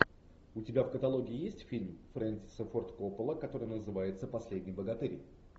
у тебя в каталоге есть фильм фрэнсиса форд коппола который называется последний богатырь